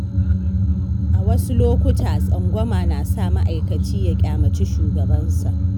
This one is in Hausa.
A wasu lokuta, tsangwama na sa ma'aikaci ya ƙyamaci shugabansa.